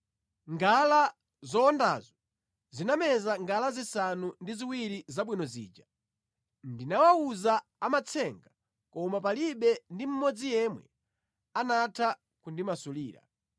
Ngala zowondazo zinameza ngala zisanu ndi ziwiri zabwino zija. Ndinawawuza amatsenga koma palibe ndi mmodzi yemwe anatha kundimasulira.”